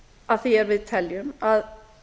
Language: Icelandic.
að því er við teljum að